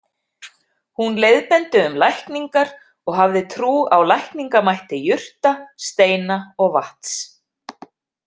Hún leiðbeindi um lækningar og hafði trú á lækningamætti jurta, steina og vatns.